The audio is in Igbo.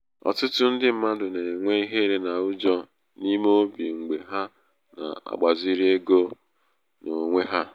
ọtụtụ ndị mmadụ na-enwe ihere na ụjọ n'ime obi mgbé ha na-agbaziri ego n'onwe ha.